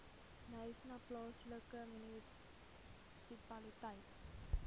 knysna plaaslike munisipaliteit